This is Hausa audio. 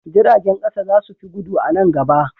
Jirgin ƙasa za su fi gudu a nan gaba.